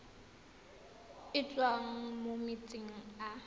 e tswang mo metsing a